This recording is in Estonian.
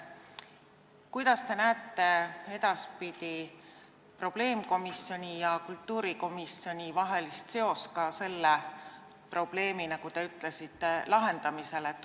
Millisena te näete edaspidi probleemkomisjoni ja kultuurikomisjoni vahelist seost selle probleemi, nagu te ütlesite, lahendamisel?